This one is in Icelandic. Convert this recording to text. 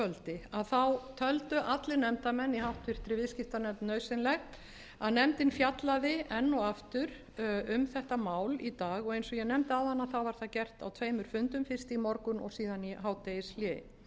í gærkvöldi töldu allir nefndarmenn í háttvirtri viðskiptanefnd nauðsynlegt að nefndin fjallaði enn og aftur um þetta mál í dag og eins og ég nefndi áðan var það gert á tveimur fundum fyrst í morgun og síðan í hádegishléi